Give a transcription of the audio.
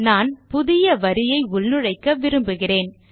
நான் புதிய வரியை உள்நுழைக்க விரும்புகிறேன்